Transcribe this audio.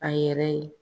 A yɛrɛ ye